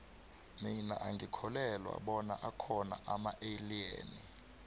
mina angikholwelwa bona akhona amaeliyeni